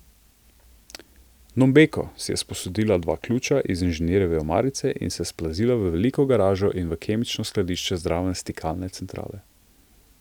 Nombeko si je sposodila dva ključa iz inženirjeve omarice in se splazila v veliko garažo in v kemično skladišče zraven stikalne centrale.